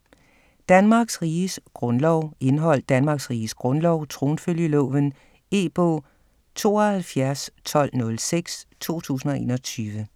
Danmarks Riges Grundlov Indhold: Danmarks Riges Grundlov ; Tronfølgeloven. E-bog 721206 2021.